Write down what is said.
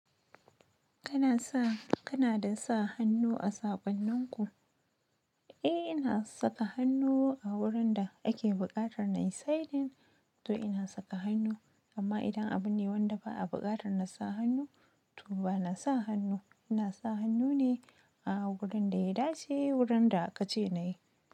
Kana sa, kana da sa hannu a saƙonninku? Eh ina saka hannu a wurin da ake buƙatar na yi sign-in to ina saka hannu. Amma idan abun ne wanda ba a buƙatar na sa hannu, to ba na sa hannu. Ina sa hannu ne a wurin da ya dace, wurin da aka ce na yi.